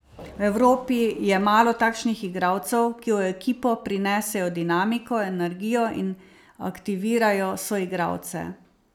V Evropi je malo takšnih igralcev, ki v ekipo prinesejo dinamiko, energijo in aktivirajo soigralce.